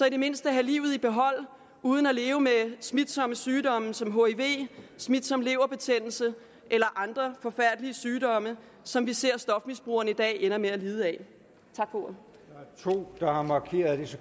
i det mindste have livet i behold uden at leve med smitsomme sygdomme som hiv og smitsom leverbetændelse eller andre forfærdelige sygdomme som vi ser stofmisbrugerne i dag ender med at lide af tak for